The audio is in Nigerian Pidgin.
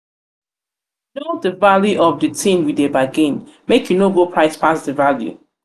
know di value of di tin you dey bargain make you no go price pass di value.